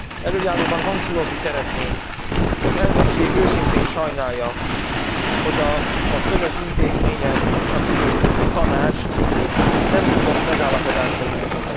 Elöljáróban hangsúlyozni szeretném, az elnökség őszintén sajnálja, hogy az önök intézménye és a miénk, a Tanács nem tudott megállapodásra jutni.